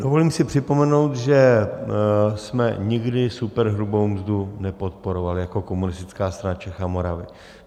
Dovolím si připomenout, že jsme nikdy superhrubou mzdu nepodporovali jako Komunistická strana Čech a Moravy.